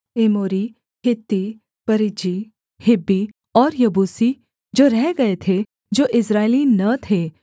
एमोरी हित्ती परिज्जी हिब्बी और यबूसी जो रह गए थे जो इस्राएली न थे